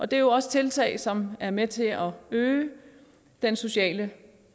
det er jo også tiltag som er med til at øge den sociale